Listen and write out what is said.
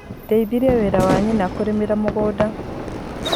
Ndeithirie mwarĩ wa nyina kũrĩmĩra mũgunda.